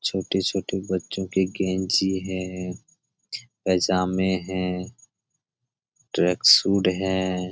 छोटे छोटे बच्चो की कैची है पाजामे है ट्रकसुट है।